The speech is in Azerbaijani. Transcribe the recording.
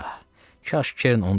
Ah, kaş Kerin onu da dirildəydi.